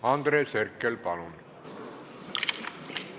Andres Herkel, palun!